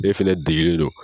N'e fɛnɛ degelen do